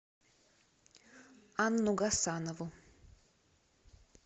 анну гасанову